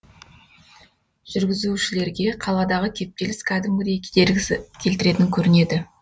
жүргізушілерге қаладағы кептеліс кәдімгідей кедергісі келтіретін көрінеді